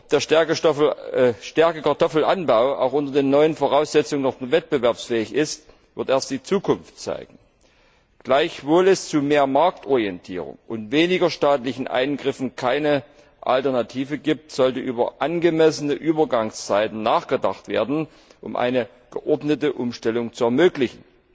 Ob der Stärkekartoffelanbau auch unter den neuen Voraussetzungen noch wettbewerbsfähig ist, wird erst die Zukunft zeigen. Auch wenn es zu mehr Marktorientierung und weniger staatlichen Eingriffen keine Alternative gibt, sollte über angemessene Übergangszeiten nachgedacht werden, um eine geordnete Umstellung zu ermöglichen.